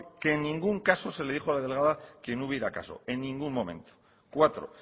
que en ningún caso se le dijo a la delegada que no hubiera caso en ningún momento cuatro